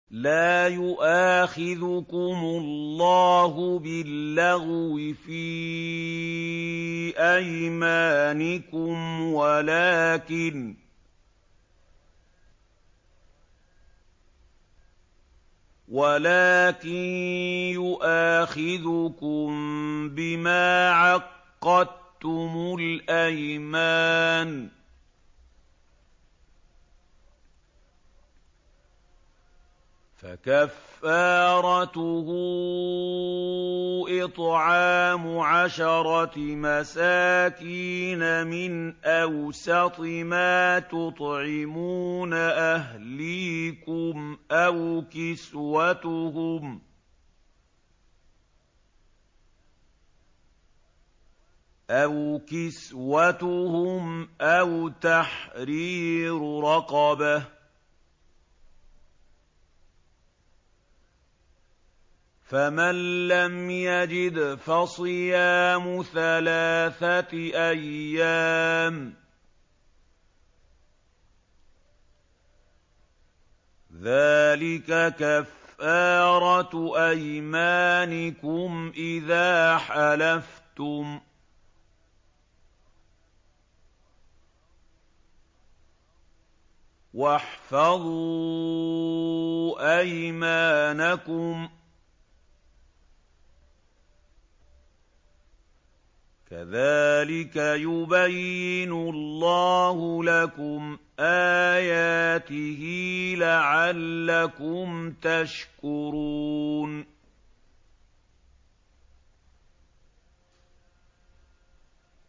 لَا يُؤَاخِذُكُمُ اللَّهُ بِاللَّغْوِ فِي أَيْمَانِكُمْ وَلَٰكِن يُؤَاخِذُكُم بِمَا عَقَّدتُّمُ الْأَيْمَانَ ۖ فَكَفَّارَتُهُ إِطْعَامُ عَشَرَةِ مَسَاكِينَ مِنْ أَوْسَطِ مَا تُطْعِمُونَ أَهْلِيكُمْ أَوْ كِسْوَتُهُمْ أَوْ تَحْرِيرُ رَقَبَةٍ ۖ فَمَن لَّمْ يَجِدْ فَصِيَامُ ثَلَاثَةِ أَيَّامٍ ۚ ذَٰلِكَ كَفَّارَةُ أَيْمَانِكُمْ إِذَا حَلَفْتُمْ ۚ وَاحْفَظُوا أَيْمَانَكُمْ ۚ كَذَٰلِكَ يُبَيِّنُ اللَّهُ لَكُمْ آيَاتِهِ لَعَلَّكُمْ تَشْكُرُونَ